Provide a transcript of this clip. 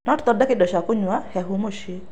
No tũthondeke indo cia kũnyua hehu mũciĩ.